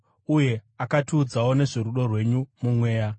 uye akatiudzawo nezvorudo rwenyu muMweya.